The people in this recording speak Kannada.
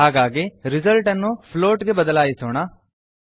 ಹಾಗಾಗಿ ರಿಸಲ್ಟ್ ರಿಸಲ್ಟ್ ಅನ್ನು ಫ್ಲೋಟ್ ಪ್ಲೋಟ್ ಗೆ ಬದಲಾಯಿಸೋಣ